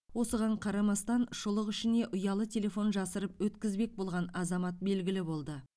осыған қарамастан шұлық ішіне ұялы телефон жасырып өткізбек болған азамат белгілі болды